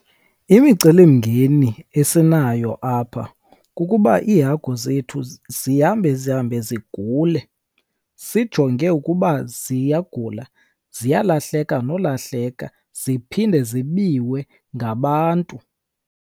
Imicelimngeni esinayo apha kukuba iihagu zethu zihambe zihambe zigule. Sijonge ukuba ziyagula, ziyalahleka nolahleka ziphinde zibiwe ngabantu.